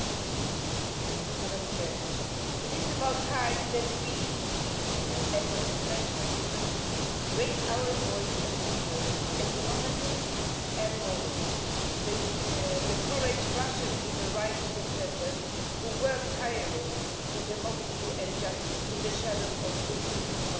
Madam President, it is about time that we in the EU and the international community raised our voice and supported economically and morally the courage of Russian human rights defenders who work tirelessly for democracy and justice in the shadow of Putin's propaganda machine.